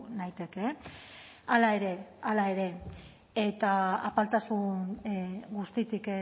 naiteke e hala ere hala ere eta apaltasun guztitik